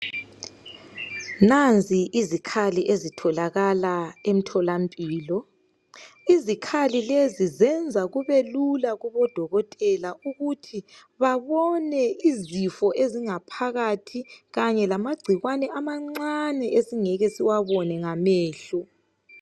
Nanzi izikhali ezitholakala emtholampilo .Izikhali lezi zenza kubelula kubodokotela ukuthi babone izifo ezingaphakathi kanye lamagcikwane amancane esingeke siwabone ngamehlo .